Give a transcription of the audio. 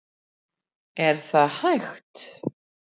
Er það hægt?